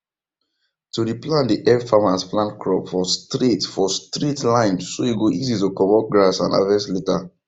to re plant dey help farmers plant crops for straight for straight line so e go easy to comot grass and harvest later